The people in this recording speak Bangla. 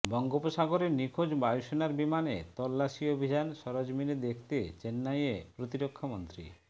বঙ্গোপসাগরে নিখোঁজ বায়ুসেনার বিমানের তল্লাসি অভিযান সরেজমিনে দেখতে চেন্নাইয়ে প্রতিরক্ষামন্ত্রী